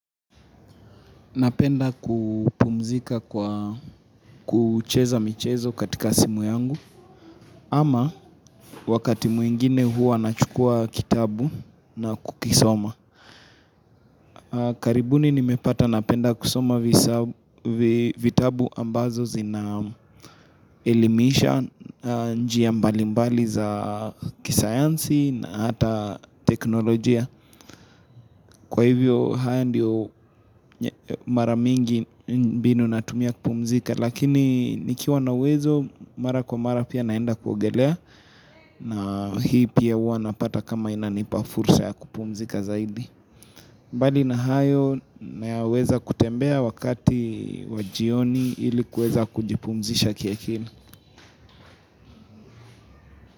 Napenda kupumzika kwa kucheza michezo katika simu yangu ama wakati mwingine huwa nachukua kitabu na kukisoma. Karibuni nimepata napenda kusoma vitabu ambazo zinaelimisha njia mbalimbali za kisayansi na hata teknolojia. Kwa hivyo haya ndio mara mingi mbinu natumia kupumzika lakini nikiwa na uwezo mara kwa mara pia naenda kuogelea na hii pia huwa napata kama inanipa fursa ya kupumzika zaidi. Mbali na hayo naweza kutembea wakati wa jioni ilikuweza kujipumzisha kiakili.